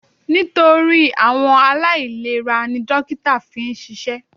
Nítorí àwọn aláìlera ni dókítà fi ń ṣiṣẹ́.